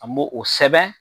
An me o sɛbɛn